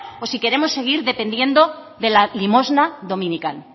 o si queremos seguir dependiendo de la limosna dominical